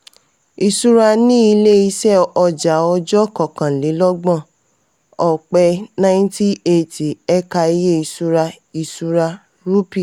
ìṣura ní ilé-iṣẹ́ ọjà ọjọ́ kọkànlélọ́gbọ̀n ọpẹ́ ninety eighty: ẹ̀ka iye ìṣura ìṣura (rúpì).